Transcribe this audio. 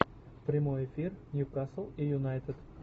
прямой эфир ньюкасл и юнайтед